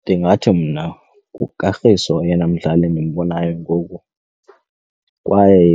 Ndingathi mna nguKagiso oyena mdlali endimbonayo ngoku kwaye